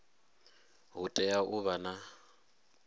hu tea u vha na